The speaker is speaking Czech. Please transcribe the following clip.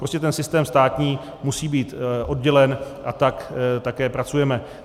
Prostě ten systém státní musí být oddělen a tak také pracujeme.